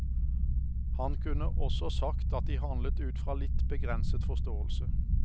Han kunne også sagt at de handlet ut fra litt begrenset forståelse.